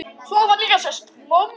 Svo hafa sést lömb.